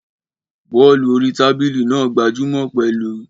Bọ́ọ̀lù orí tábìlì náà gbajúmọ̀ pẹ̀lú